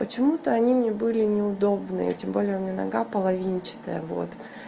почему-то они мне были неудобны и тем более у меня нога половинчатая вот